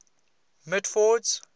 mitford's